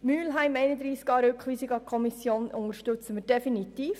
Den Antrag Mühlheim auf Rückweisung an die Kommission unterstützen wir definitiv.